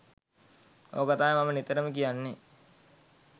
ඕක තමයි මම නිතරම කියන්නේ